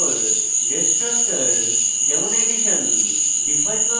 destructor যেমন: ~ addition